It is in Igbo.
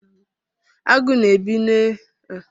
Agụ na-ebi n'oké ọhịa ebe ha na-amụba.